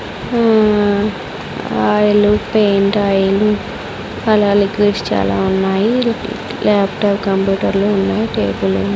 Oil painter oil అలా liquids చాలా ఉన్నాయి లాప్టాప్ కంప్యూటర్లు ఉన్నాయి టేబుల్ .